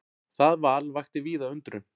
Það val vakti víða undrun.